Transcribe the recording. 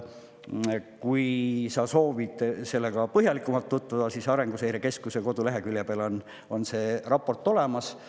Kui sa soovid sellega põhjalikumalt tutvuda, siis Arenguseire Keskuse kodulehekülje peal on see raport olemas.